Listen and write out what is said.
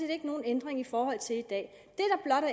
ikke nogen ændring i forhold til i dag